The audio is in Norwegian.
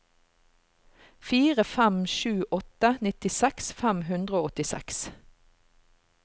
fire fem sju åtte nittiseks fem hundre og åttiseks